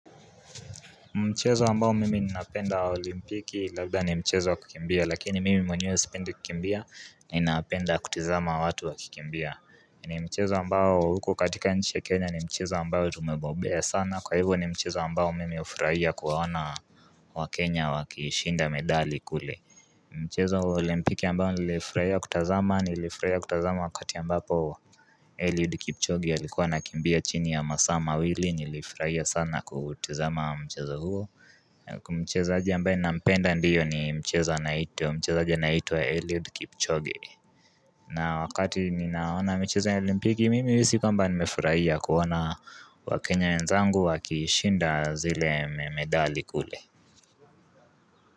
Mchezo ambao mimi ninapenda wa olimpiki labda ni mchezo wa kukimbia lakini mimi mwenye wa sipendi kukimbia na ninapenda kutizama wa watu wa kikimbia ni mchezo ambao huku katika nchi ya kenya ni mchezo ambao tumembobea sana kwa hivo ni mchezo ambao mimi ufurahia kuwaona wa kenya wa kishinda medali kule ni mchezo wa olimpiki ambao nilifurahia kutazama nilifurahia kutazama wakati ambapo Eliud Kipchoge alikuwa anakimbia chini ya masaa mawili nilifurahia sana kutizama mcheza huo Mchezaaje ambaye nampenda ndiyo ni mcheza mchezaji anaitwa Eliud Kipchoge na wakati ninaona mcheza olimpiki mimi si kwamba nimefurahia kuona wakenya nwenzangu wakishinda zile medali kule.